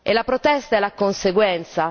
La protesta è la conseguenza.